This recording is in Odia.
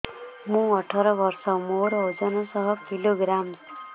ମୁଁ ଅଠର ବର୍ଷ ମୋର ଓଜନ ଶହ କିଲୋଗ୍ରାମସ